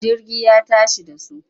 Jirgi ya tashi da su.